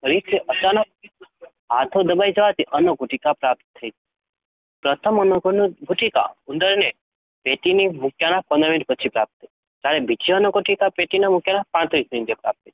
ફરીથી અચાનક હાથો દબાઈ જવાથી અન્નગુટિકા પ્રાપ્ત થઈ. પ્રથમ અન્નગુટિકા ઉંદરને પેટીમાં મૂક્યાની પંદર મિનિટ પછી પ્રાપ્ત થઈ હતી. જ્યારે બીજી અન્નગુટિકા પેટીમાં મૂક્યાની પાંત્રીસ મિનિટે પ્રાપ્ત થઇ